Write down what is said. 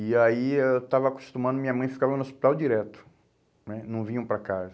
E aí eu estava acostumando, minha mãe ficava no hospital direto né, não vinham para casa.